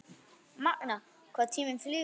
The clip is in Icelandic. Magnað hvað tíminn flýgur?